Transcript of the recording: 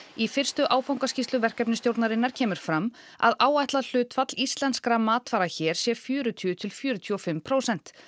í fyrstu áfangaskýrslu verkefnisstjórnarinnar kemur fram að áætlað hlutfall íslenskra matvara hér sé fjörutíu til fjörutíu og fimm prósent